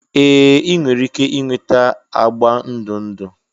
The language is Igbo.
Ee! ị nwere ike ịnweta agba ndụ ndụ.